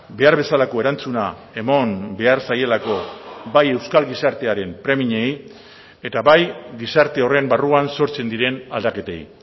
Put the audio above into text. behar bezalako erantzuna eman behar zaielako bai euskal gizartearen premiei eta bai gizarte horren barruan sortzen diren aldaketei